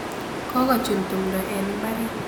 Kokochun tumdo eng mbaret.